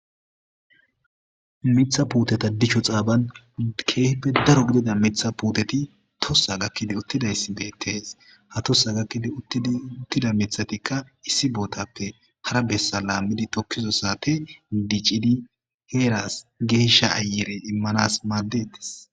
mitha puuteta dicho xaaban keeeppe daro gidida mitha puuteti tossa gakkidi uttidayssi beettees ha tossa gakkidi uttida mithatikka issi bootappe hara bessa laammidi tokkizo saate diccidi heeras geeshsha ayere immanas maaddedis